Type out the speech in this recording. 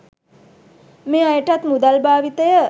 මේ අයටත් මුදල් භාවිතය